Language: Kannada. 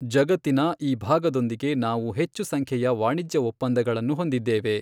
ಜಗತ್ತಿನ ಈ ಭಾಗದೊಂದಿಗೆ ನಾವು ಹೆಚ್ಚು ಸಂಖ್ಯೆಯ ವಾಣಿಜ್ಯ ಒಪ್ಪಂದಗಳನ್ನು ಹೊಂದಿದ್ದೇವೆ.